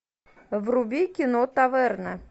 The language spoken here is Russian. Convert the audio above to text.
вруби кино таверна